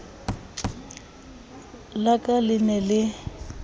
la ka le ne le